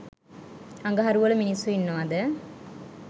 අඟහරු වල මින්ස්සු ඉන්නවද